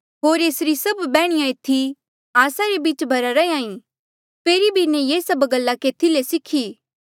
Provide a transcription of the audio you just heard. होर एसरी सभ बैहणीया एथी आस्सा रे बीच भरा रैंहयां ईं फेरी इन्हें ये सभ गल्ला केथी ले सीखी